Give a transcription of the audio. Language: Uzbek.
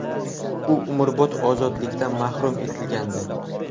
U umrbod ozodlikdan mahrum etilgandi.